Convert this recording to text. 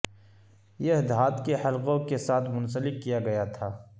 یہ دھات کے حلقوں کے ساتھ منسلک کیا گیا تھا